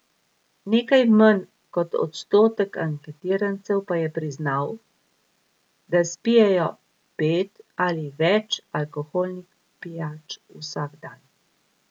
Nekaj manj kot odstotek anketirancev pa je priznal, da spijejo pet ali več alkoholnih pijač vsak dan.